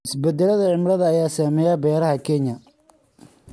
Isbeddelka cimilada ayaa saameynaya beeraha Kenya.